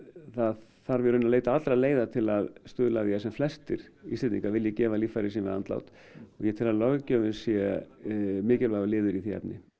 það þarf í rauninni að leita allra leiða til að stuðla að því að sem flestir Íslendingar vilji gefa líffæri sín við andlát ég tel að löggjöfin sé mikilvægur liður í því efni